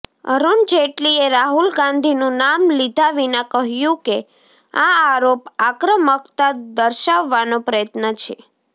અરૂણ જેટલીએ રાહુલ ગાંધીનું નામ લીધા વિના કહ્યું કે આ આરોપ આક્રમકતા દર્શાવવાનો પ્રયત્ન છે